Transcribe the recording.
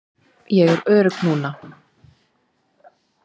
Ég er örugg núna.